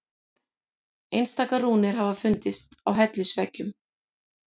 Einstaka rúnir hafa fundist á hellisveggjum.